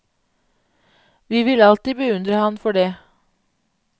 Vi vil alltid beundre han for det.